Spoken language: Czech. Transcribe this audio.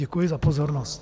Děkuji za pozornost.